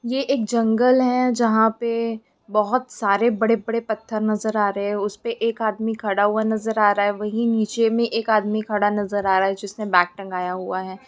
ये एक जंगल है जहाँ पे बहुत सारे बड़े-बड़े पत्थर नजर आ रहे हैं उसपे एक आदमी खड़ा हुआ नजर आ रहा है वहीं नीचे में एक आदमी खड़ा नजर आ रहा है जिसने बैग टँगाया हुआ है।